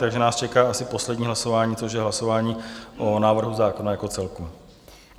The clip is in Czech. Takže nás čeká asi poslední hlasování, což je hlasování o návrhu zákona jako celku.